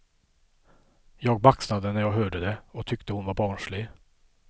Jag baxnade när jag hörde det, och tyckte hon var barnslig.